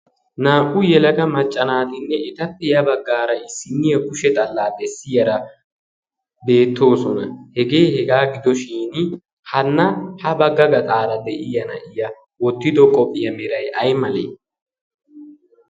Naa"u yelaga macca naatinne etappe ya baggaara issinniya kushe xallaa bessiyaara beettoosona. Hegee hegaa gido shin hanna ha bagga gaxaara de'iya na'iya wottido qophiya Meray ayimalee?